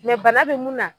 bana bɛ mun na